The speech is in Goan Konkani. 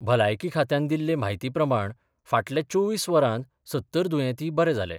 भलायकी खात्यान दिल्ले म्हायती प्रमाण फाटल्या चोवीस वरांत सत्तर दुयेंती बरे जाले.